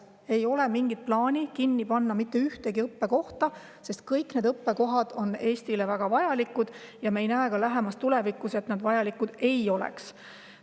Ei ole mingit plaani mitte ühtegi õppekohta kinni panna, sest kõik need õppekohad on Eestile väga vajalikud, ja me ei näe lähemas tulevikus, et need vajalikud ei oleks.